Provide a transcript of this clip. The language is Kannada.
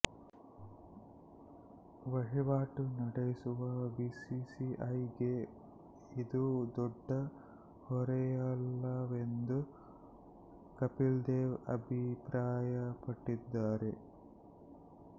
ವಹಿವಾಟು ನಡೆಸುವ ಬಿಸಿಸಿಐ ಗೆ ಇದು ದೊಡ್ಡ ಹೊರೆಯಲ್ಲವೆಂದು ಕಪಿಲ್ ದೇವ್ ಅಭಿಪ್ರಾಯಪಟ್ಟಿದ್ದಾರೆ